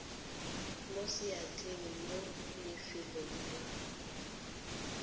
mo seatleng mo lefelong la